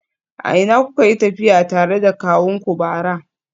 A ina kuka yi tafiya tare da kawunku bara?